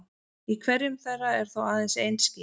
Í hverjum þeirra er þó aðeins ein skífa.